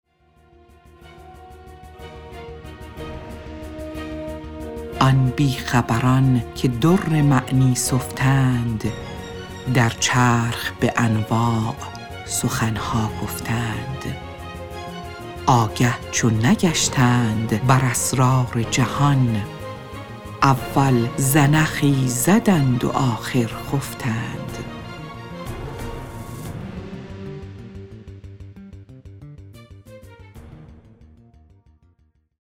آن بیخبران که در معنی سفتند در چرخ به انواع سخن ها گفتند آگه چو نگشتند بر اسرار جهان اول زنخی زدند و آخر خفتند